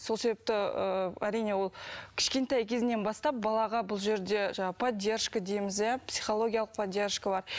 сол себепті ыыы әрине ол кішкентай кезінен бастап балаға бұл жерде жаңағы поддержка дейміз иә психологиялық поддержкалар